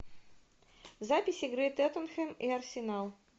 запись игры тоттенхэм и арсенал